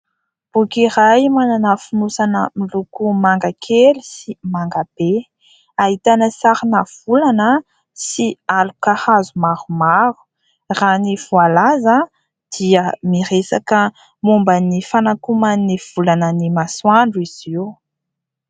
Boky iray manana fonosana miloko manga kely sy manga be. Ahitana sarina volana sy aloka hazo maromaro. Raha ny voalaza dia miresaka momba ny fanakoman'ny volana ny masoandro izy io.